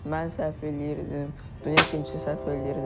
Mən səhv eləyirdim, dünya ikincisi səhv eləyirdi.